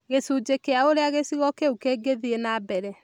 Gĩcunjĩ kĩa ũrĩa gĩcigo kĩu kĩngĩthiĩ nambere